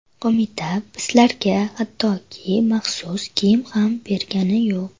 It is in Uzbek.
Qo‘mita bizlarga hattoki maxsus kiyim ham bergani yo‘q.